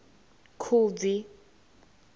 khubvi